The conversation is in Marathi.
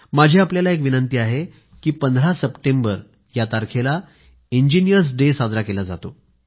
माझी आपल्याला एक विनंती आहे की 15 सप्टेंबर या तारखेला इंजिनीअर्स डे साजरा केला जातो